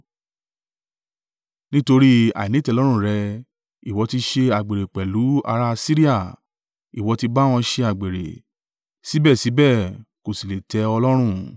Nítorí àìnítẹ́lọ́rùn rẹ, ìwọ ti ṣe àgbèrè pẹ̀lú ara Asiria; ìwọ ti bá wọn ṣe àgbèrè, síbẹ̀síbẹ̀, kò sì lè tẹ́ ọ lọ́rùn.